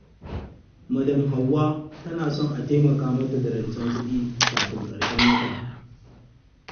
Madam Hawwa tana son a taimaka mata da rance kuɗi kafin ƙarshen wata.